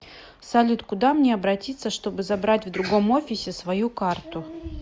салют куда мне обратится чтобы забрать в другом офисе свою карту